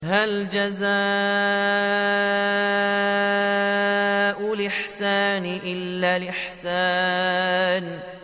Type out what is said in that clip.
هَلْ جَزَاءُ الْإِحْسَانِ إِلَّا الْإِحْسَانُ